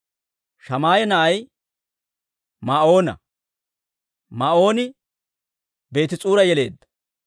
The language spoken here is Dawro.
Shammaaya na'ay Maa'oona. Maa'ooni Beetis'uura yeleedda.